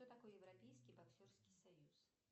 кто такой европейский боксерский союз